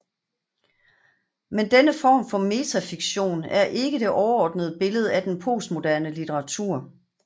Men denne form for metafiktion er ikke det overordnede billede af den postmoderne litteratur